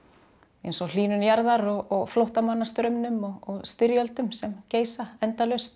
eins og hlýnun jarðar og flóttamannastraumnum og styrjöldum sem geisa endalaust